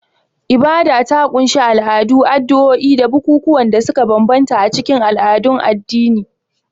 Ibada ta ƙunshi al'adu, addu'o'i da bukukuwan da suka bambanta a cikin al'adun addini.